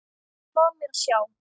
Lof mér sjá